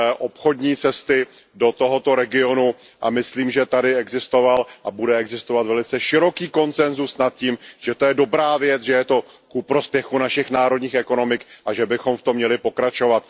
obchodní cesty do tohoto regionu, a myslím, že tady existoval a bude existovat velice široký konsensus nad tím, že to je dobrá věc, že je to ku prospěchu našich národních ekonomik a že bychom v tom měli pokračovat.